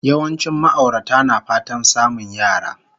Yawancin ma'aurata na fatan samun yara